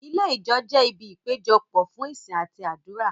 Ilé Ìjọ jẹ ibi ìpéjọpọ̀ fún ìsìn àti àdúrà.